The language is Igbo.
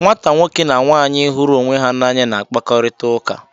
Nwata nwoke na nwaanyị hụrụ onwe ha n'anya na-akpakọrịta ụka.